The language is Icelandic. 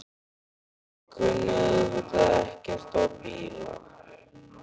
Ég kunni auðvitað ekkert á bíla.